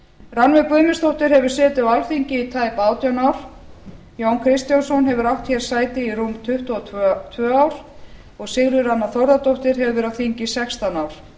rannveig guðmundsdóttir hefur setið á alþingi í tæp átján ár jón kristjánsson hefur átt hér sæti í rúm tuttugu og tvö ár og sigríður anna þórðardóttir hefur verið á þingi í sextán ár